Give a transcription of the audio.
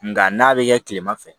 Nga n'a bɛ kɛ kilema fɛ